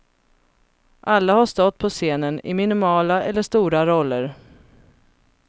Alla har stått på scenen, i minimala eller stora roller.